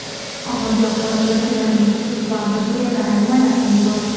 ommaviy axborot vakillarining huquq va majburiyatlari nimalardan iborat?.